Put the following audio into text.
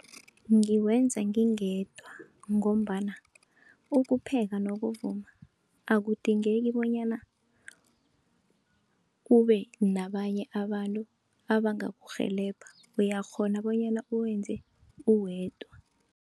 Ngiwenza ngingedwa, ngombana ukupheka nokuvuma akudingeki bonyana ube nabanye abantu abangakurhelebha, uyakghona bonyana uwenze uwedwa.